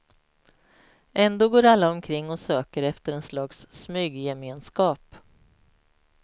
Ändå går alla omkring och söker efter en slags smyggemenskap.